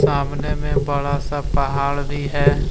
सामने में बड़ा सा पहाड़ भी है।